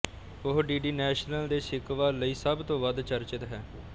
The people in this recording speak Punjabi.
ਉਹ ਡੀਡੀ ਨੈਸ਼ਨਲ ਦੇ ਸ਼ਿਕਵਾ ਲਈ ਸਭ ਤੋਂ ਵੱਧ ਚਰਚਿਤ ਹੈ